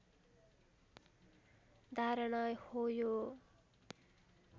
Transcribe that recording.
धारणा हो यो